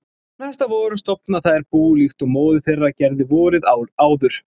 Næsta vor stofna þær bú líkt og móðir þeirra gerði vorið áður.